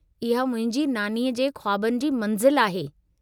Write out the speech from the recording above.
इहा मुंहिंजी नानीअ जे ख़्वाबनि जी मंज़िल आहे।